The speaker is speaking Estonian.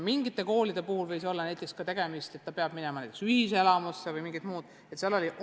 Mõne kooli puhul võis olla tegemist ka näiteks sellega, et laps peab minema ühiselamusse, või esines mingeid muid asjaolusid.